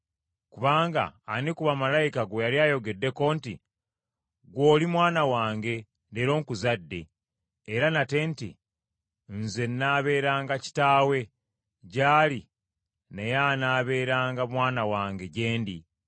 Kubanga ani ku bamalayika gwe yali ayogeddeko nti, “Ggwe oli Mwana wange, Leero nkuzadde?” Era nate nti, “Nze nnaabeeranga Kitaawe gy’ali naye anaabeeranga Mwana wange gye ndi?”